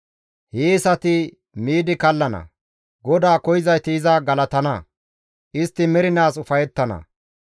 Hiyeesati miidi kallana. GODAA koyzayti iza galatana. Istti mernaas ufayettana.